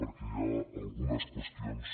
perquè hi ha algunes qüestions